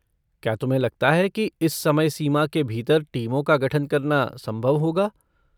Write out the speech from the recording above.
क्या तुम्हें लगता है कि इस समय सीमा के भीतर टीमों का गठन करना संभव होगा?